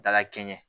Dala kɛɲɛ